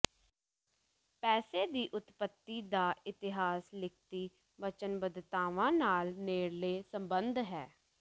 ਪੈਸੇ ਦੀ ਉਤਪਤੀ ਦਾ ਇਤਿਹਾਸ ਲਿਖਤੀ ਵਚਨਬੱਧਤਾਵਾਂ ਨਾਲ ਨੇੜਲੇ ਸਬੰਧ ਹੈ